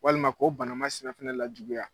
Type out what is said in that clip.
Walima k'o bana masinɛ fana lajuguya.